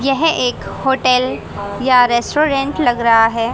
यह एक होटल या रेस्टोरेंट लग रहा है।